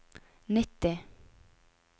nitti